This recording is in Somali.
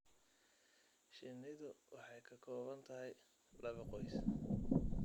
Shinnidu waxay ka kooban tahay laba qoys.